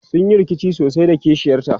sunyi rikici sosai da kishiyar ta